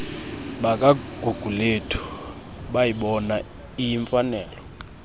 bakagugulethu bayibona iyimfanelo